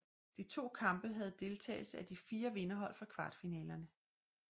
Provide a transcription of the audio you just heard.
De to kampe havde deltagelse af de fire vinderhold fra kvartfinalerne